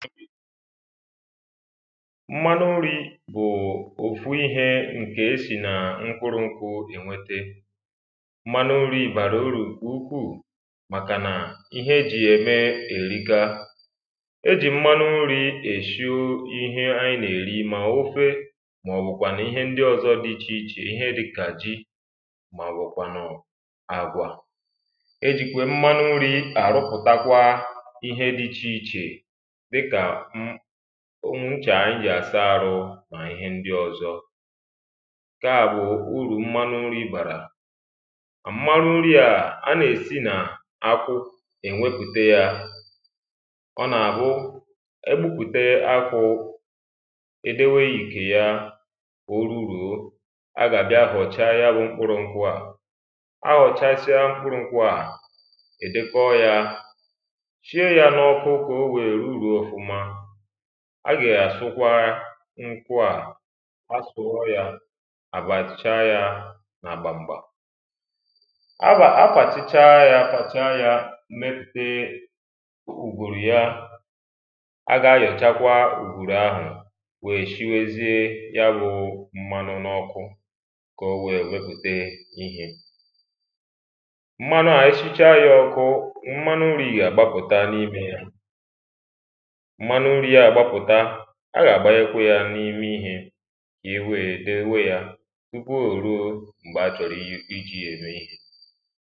mmanụ nrī bụ̀ òfu ihē ǹke esì nà mkpurū nkwū ènwete mmanụ nrī bàrà urù ǹke ukwū màkà nà ihe ejì ya eme èrika ejì mmanu nrī èshio ihe a nà-èri mà ofe mà ọ̀bụ̀ kwànù ihe ndi ọzọ di ichè ichè ihe dikà ji mà ọ̀bụ̀ kwànù àgwaà e jìkwà mmanu nrī àrụpụ̀ta kwa íhé dī íchè íchè dikà n nchà ànyị jì àsa arụ nà ihe ndị ọ̀zọ ǹke a bụ̀ urù mmanụ nrī bàrà mmanụ nriā a nà-èsi nà akwụ iwepùte ya ọ nà àbụ egbupùte akwụ̄ è dewe ìkè ya kà oruruō a gà àbia họ̀chaa ya bū mkpụrụ̄ nkwụ à a họ̀chasia ya bụ̄ mkpụrụ̄ nkwụ à è deekọ yā shie yā na ọkụ kà oweē ruruō mmanụ a già àsụkwara nkwụ à á sụọ̄ yá àbàschaa yā nà gbàm gbàm azaāsichaa ya zàchaa ya meepee ùùgwùrù ya a ga ayọ̀chaa kwa ùgwùrù ahụ weé shiwezie yā bụ mmanụ n’ọkụ kà oweē wepùte íhē mmanụ a eshichaa yā ọkụ mmanụ nri ā gbapụ̀ta na imē ya mmanụ nri à gbapụ̀ta a gà agbanye kwā n’ime ihē yeweē èdeweē nkwu ō ruo mgbe a chọrọ iji ya eme ihe